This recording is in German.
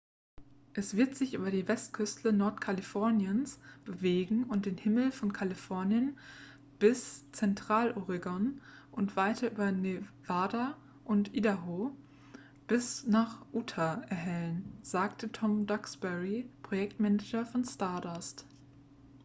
es wird sich über die westküste nordkaliforniens bewegen und den himmel von kalifornien bis zentraloregon und weiter über nevada und idaho bis nach utah erhellen sagte tom duxbury projektmanager von stardust